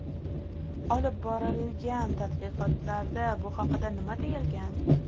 Olib borilgan tadqiqotlarda bu haqda nima deyilgan?